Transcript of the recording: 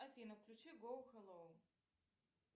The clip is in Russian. афина включи гоу хеллоу